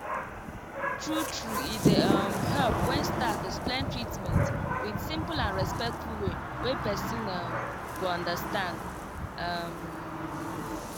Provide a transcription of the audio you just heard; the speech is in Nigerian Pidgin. true true e dey um help when staff explain treatment with simple and respectful way wey person um go understand. um